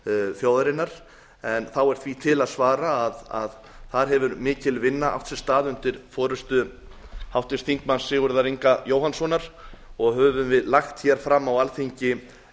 þjóðarinnar en þá er því til að svara að þar hefur mikil vinna átt sér stað undir forustu háttvirts þingmanns sigurðar inga jóhannssonar og höfum við lagt fram á alþingi